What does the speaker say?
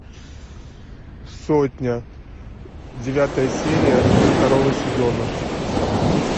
сотня девятая серия второго сезона